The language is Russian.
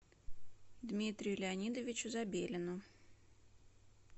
дмитрию леонидовичу забелину